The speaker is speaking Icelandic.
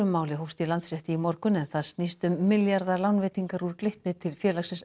máli hófst í Landsrétti í morgun en það snýst um milljarðalánveitingar úr Glitni til félagsins